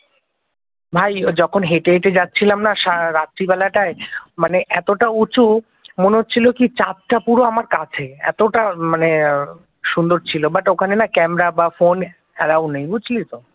ভাই যখন হেঁটে হেঁটে যাচ্ছিলাম না মানে সারা রাত্রিবেলাটায় মানে এতটা উঁচু মনে হচ্ছিল কি চাঁদটা পুরো আমার কাছে এতটা মানে সুন্দর ছিল বাট ওখানে না ক্যামেরা বা ফোন এলাও নেই বুঝলি তো